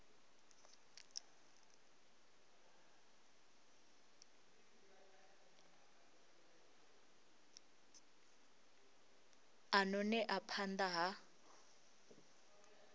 a ṱo ḓea phanḓa ha